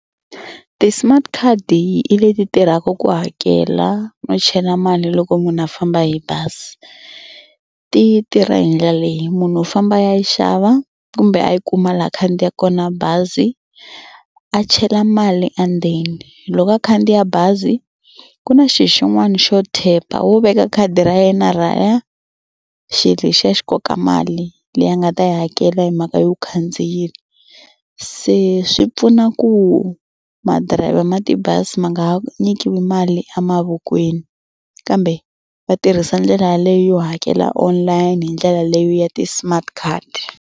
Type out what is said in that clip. Ti-smart card i leti tirhaka ku hakela no chela mali loko munhu a famba hi bazi ti tirha hi ndlela leyi. Munhu u famba a ya yi xava kumbe a yi kuma laha khandziya kona bazi a chela mali a ndzeni. Loko a khandziya bazi ku na xilo xin'wana xo tap-a wo veka khadi ra yena laya xilo lexiya xi koka mali leyi a nga ta yi hakela hi mhaka yo khandziyile. Se swi pfuna ku ma-driver ma tibazi ma nga ha nyikiwi mali emavokweni kambe va tirhisa ndlela leyo yo hakela online hi ndlela leyo ya ti-smart card.